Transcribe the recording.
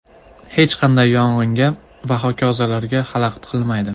Hech qanday yong‘inga va hokazolarga xalaqit qilmaydi”.